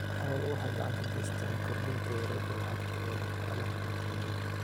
Xooluhu waxay gacan ka geystaan ??kordhinta wareegga lacagta ee dhaqaalaha dhulka miyiga.